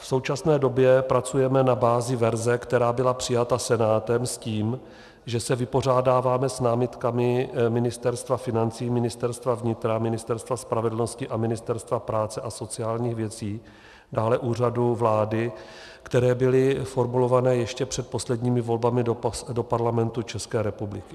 V současné době pracujeme na bázi verze, která byla přijata Senátem, s tím, že se vypořádáváme s námitkami Ministerstva financí, Ministerstva vnitra, Ministerstva spravedlnosti a Ministerstva práce a sociálních věcí, dále Úřadu vlády, které byly formulované ještě před posledními volbami do Parlamentu České republiky.